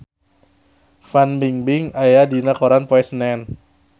Fan Bingbing aya dina koran poe Senen